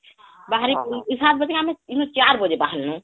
ବାହାରି ସାତ ବାଜେ .. ଇନୁ ଚାର ବାଜେ ବାହାର ନୁ